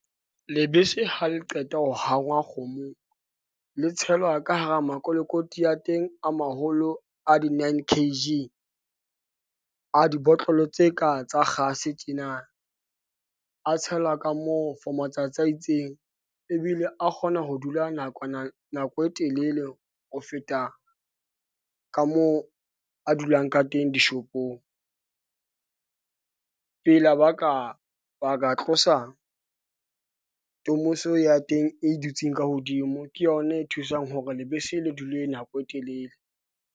Lebese ha le qeta ho hangwa kgomong le tshelwa ka hara makolokoti a teng a maholo a di 9 K_G. A dibotlolo tse ka tsa kgase tjena, a tshelwa ka moo for matsatsi a itseng ebile a kgona ho dula nako e telele ho feta ka moo a dulang ka teng dishopong . Pela ba ka ba ka tlosa tomoso eo ya teng e dutseng ka hodimo ke yona e thusang hore lebese le dule nako e telele.